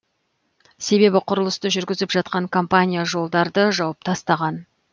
себебі құрылысты жүргізіп жатқан компания жолдарды жауып тастаған